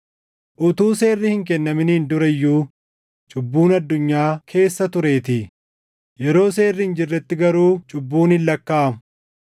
Utuu seerri hin kennaminiin dura iyyuu cubbuun addunyaa keessa tureetii; yeroo seerri hin jirretti garuu cubbuun hin lakkaaʼamu.